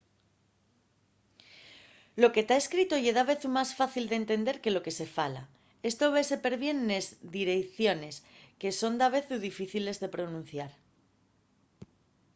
lo que ta escrito ye davezu más fácil d’entender que lo que se fala. esto vese perbién nes direiciones que son davezu difíciles de pronunciar